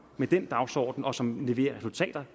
med den dagsorden og som leverer resultater